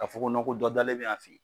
Ka fɔ ko ko dɔ dalen bɛ yan fɛ yen